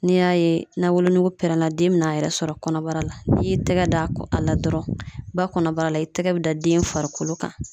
N'i y'a ye na wolonugu pɛrɛnna den bɛna a yɛrɛ sɔrɔ kɔnɔbara la ,n'i y'i tɛgɛ da ko a la dɔrɔn ba kɔnɔbara la i tɛgɛ bɛ da den farikolo kan.